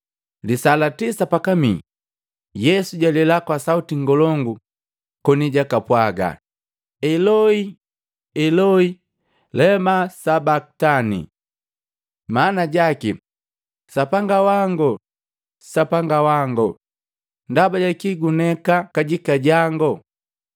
Lisaa la tisa pakamii Yesu jalela kwa sauti ngolongu, koni jakapwaga, “Eloi, Eloi lema Sabakitani?” Maana jaki, “Sapanga wango, Sapanga wango, ndaba jaki guneka kajika jango?”